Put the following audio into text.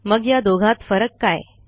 मग या दोघात फरक काय